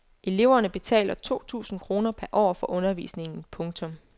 Eleverne betaler to tusind kroner per år for undervisningen. punktum